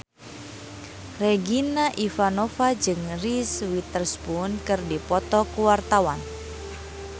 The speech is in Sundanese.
Regina Ivanova jeung Reese Witherspoon keur dipoto ku wartawan